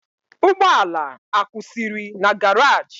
Ugbo ala akwusiri na garage?